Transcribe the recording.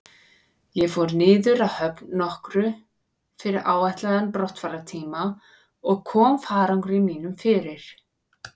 Ég fór niður að höfn nokkru fyrir áætlaðan brottfarartíma og kom farangri mínum fyrir.